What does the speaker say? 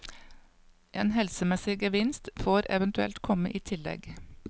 En helsemessig gevinst får eventuelt komme i tillegg.